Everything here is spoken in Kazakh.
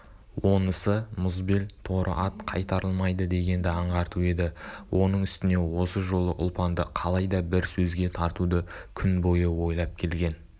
онысы мұзбел торы ат қайтарылмайды дегенді аңғарту еді оның үстіне осы жолы ұлпанды қалайда бір сөзге тартуды күн бойы ойлап келген